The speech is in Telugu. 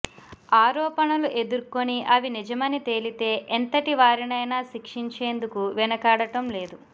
ఆరోపణలు ఎదుర్కొని అవి నిజమని తేలితే ఎంతటి వారినైనా శిక్షించేందుకు వెనుకాడటం లేదు